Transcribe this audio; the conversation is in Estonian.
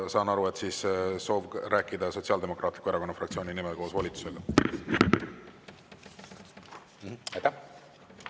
Ma saan aru, et soov on rääkida Sotsiaaldemokraatliku Erakonna fraktsiooni nimel, koos volitusega.